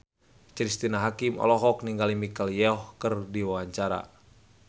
Cristine Hakim olohok ningali Michelle Yeoh keur diwawancara